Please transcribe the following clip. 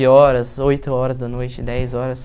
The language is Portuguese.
Horas, oito horas da noite, dez horas.